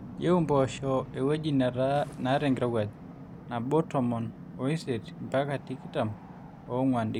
eyieu impoosho ewyeji neeta enkirowuaj nabo tomon oisiet mbaka tikitam oonguan°c